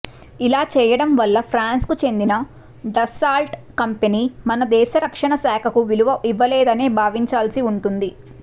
ఇలా చేయడం వల్ల ఫ్రాన్స్ కు చెందిన డస్సాల్ట్ కంపెనీ మన దేశ రక్షణశాఖకు విలువ ఇవ్వలేదనే భావించాల్సి ఉంటుంది